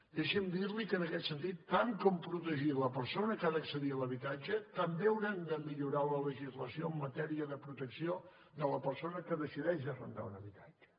deixi’m dir li que en aquest sentit tant com protegir la persona que ha d’accedir a l’habitatge també haurem de millorar la legislació en matèria de protecció de la persona que decideix arrendar un habitatge